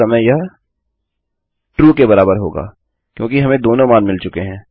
अतः इस समय यह ट्रू के बराबर होगा क्योंकि हमें दोनों मान मिल चुके हैं